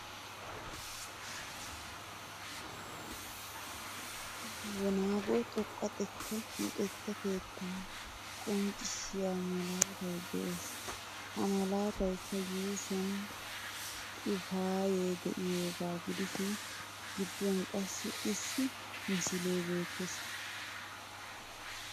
Wonago xoqqa xekka luxetta keetta qonccissiyaa malaatay de'ees. Ha malaataykka yuushuwan xifaaye de'iyooga gidishin gidduwan qassi isso misilie beettees .